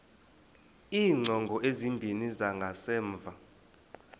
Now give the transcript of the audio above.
iingcango ezimbini zangasemva